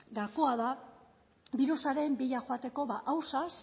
gakoa da birusaren bila joateko ba ausaz